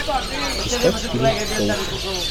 искать фильм толкин